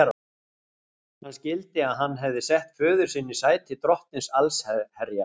Hann skildi að hann hafði sett föður sinn í sæti drottins allsherjar.